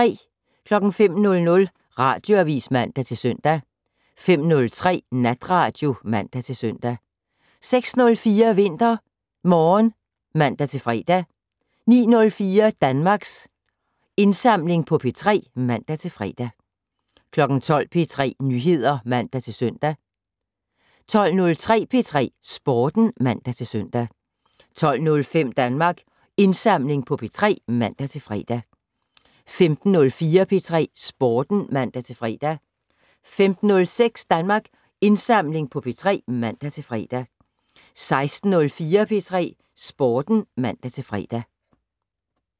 05:00: Radioavis (man-søn) 05:03: Natradio (man-søn) 06:04: VinterMorgen (man-fre) 09:04: Danmarks Indsamling på P3 (man-fre) 12:00: P3 Nyheder (man-søn) 12:03: P3 Sporten (man-søn) 12:05: Danmarks Indsamling på P3 (man-fre) 15:04: P3 Sporten (man-fre) 15:06: Danmarks Indsamling på P3 (man-fre) 16:04: P3 Sporten (man-fre)